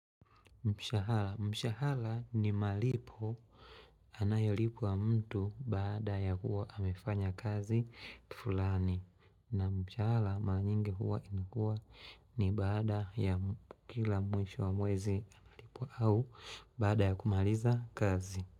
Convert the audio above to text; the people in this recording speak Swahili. Mshahala. Mshahala ni malipo anayolipwa mtu baada ya hua amefanya kazi fullani. Na mshahara mara nyingi huwa inakuwa ni baada ya kila mwisho wa mwezi analipwa au baada ya kumaliza kazi.